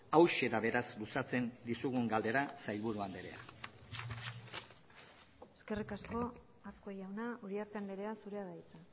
hauxe da beraz luzatzen dizugun galdera sailburu andrea eskerrik asko azkue jauna uriarte andrea zurea da hitza